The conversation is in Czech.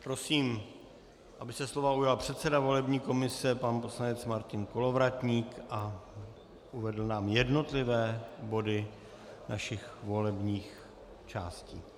Prosím, aby se slova ujal předseda volební komise pan poslanec Martin Kolovratník a uvedl nám jednotlivé body našich volebních částí.